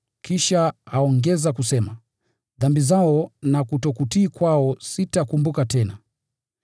Kisha aongeza kusema: “Dhambi zao na kutokutii kwao sitakumbuka tena.”